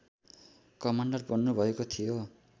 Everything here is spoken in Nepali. कमान्डर बन्नुभएको थियो